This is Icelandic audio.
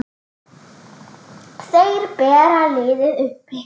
Þeir bera liðið uppi.